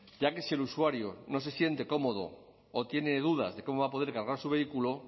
ya que si el usuario no se siente cómodo o tiene dudas de cómo va a poder cargar su vehículo